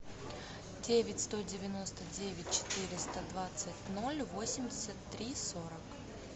девять сто девяносто девять четыреста двадцать ноль восемьдесят три сорок